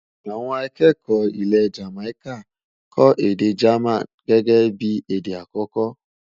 àwọn akẹkọ ilé Jamaica kò èdè germain gẹgẹ bí èdè akoko